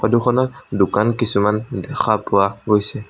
Photo খনত দোকান কিছুমান দেখা পোৱা গৈছে।